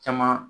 Caman